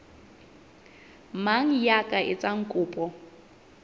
mang ya ka etsang kopo